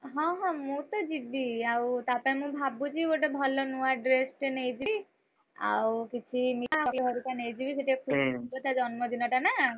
ହଁ ହଁ, ମୁଁ ତ ଯିବି। ଆଉ ତା ପାଇଁ ମୁଁ ଭାବୁଛି ଗୋଟେ ଭଲ ନୂଆ dress ଟେ ନେଇକି ଆଉ କିଛି ମିଠା ଘରକୁ ନେଇକି ଯିବି, ଯେହେତୁ ତାର ଜନ୍ମଦିନ ଟା ନା!